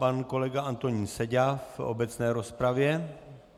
Pan kolega Antonín Seďa v obecné rozpravě.